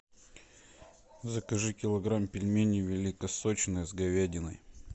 закажи килограмм пельменей великосочные с говядиной